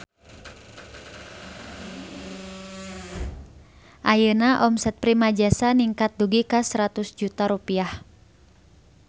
Ayeuna omset Primajasa ningkat dugi ka 100 juta rupiah